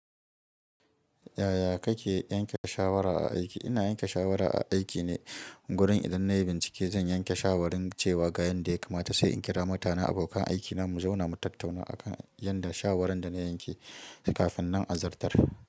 Yaya kake yanke shawara a aiki? Ina yanke shawara a aiki ne. Wurin idan na yi bincike, zan yanke shawarin cewa ga yadda ya kamata sai in kira mutane, abokan aikina mu zauna mu tattauna a kan yadda shawarar da na yanke kafin nan a zartar.